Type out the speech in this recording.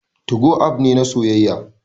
2go app ne na soyayya